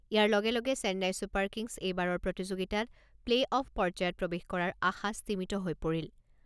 ইয়াৰ লগে লগে Chennai Super Kings এইবাৰৰ প্ৰতিযোগিতাত প্লে অফ পৰ্যায়ত প্ৰৱেশ কৰাৰ আশা স্তিমিত হৈ পৰিল।